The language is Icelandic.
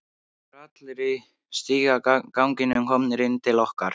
Það voru allir í stigaganginum komnir inn til okkar.